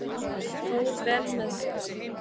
Fór vel með sig.